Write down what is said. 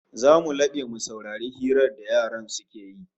Zamu labe mu saurari hirar da yaran suke yi